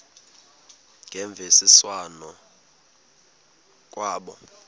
ngemvisiswano r kwabo